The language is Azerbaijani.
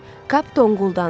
Kap donquldandı.